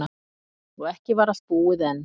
Og ekki var allt búið enn.